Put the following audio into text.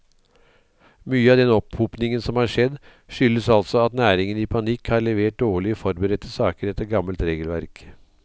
Mye av den opphopningen som har skjedd, skyldes altså at næringen i panikk har levert dårlig forberedte saker etter gammelt regelverk.